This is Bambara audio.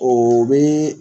O bɛ